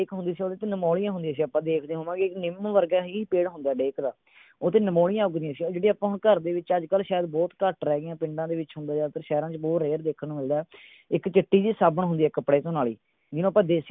ਹੁੰਦੀ ਸੀ ਓਹਦੇ ਚ ਨਿਮੋਲੀਆਂ ਹੁੰਦੀਆਂ ਸੀ ਆਪਾਂ ਦੇਖਦੇ ਹੋਵਾਂਗੇ ਨਿੱਮ ਵਰਗਾ ਹੀ ਪੇੜ ਹੁੰਦਾ ਹੈ ਡੇਕ ਦਾ ਓਹਦੇ ਤੇ ਨਿਮੋਲੀਆਂ ਉੱਗਦੀਆਂ ਸੀ ਉਹ ਜਿਹਦੇ ਆਪਾਂ ਘਰ ਦੇ ਵਿੱਚ ਅੱਜ ਕੱਲ ਸ਼ਾਇਦ ਬਹੁਤ ਘੱਟ ਰਹਿ ਗਈਆਂ ਪਿੰਡਾਂ ਦੇ ਵਿੱਚ ਹੁੰਦੀਆਂ ਨੇ ਸ਼ਾਇਦ ਪਰ ਸ਼ਹਿਰਾਂ ਦੇ ਵਿੱਚ ਬਹੁਤ **** ਦੇਖਣ ਨੂੰ ਮਿਲਦਾ ਇੱਕ ਚਿੱਟੀ ਜਿਹੀ ਸਾਬਣ ਰੇਰ ਹੁੰਦੀ ਹੈ ਕਪੜੇ ਧੋਣ ਅਲੀ ਜਿਹਨੂੰ ਆਪਾਂ ਦੇਸੀ।